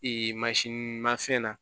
mansin ma fɛn na